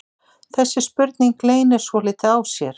Þessi spurning leynir svolítið á sér.